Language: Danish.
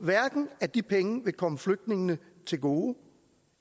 at de penge vil komme flygtningene til gode